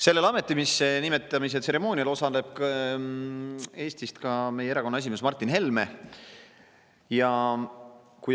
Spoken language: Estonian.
Sellel ametisse nimetamise tseremoonial osaleb Eestist ka meie erakonna esimees Martin Helme.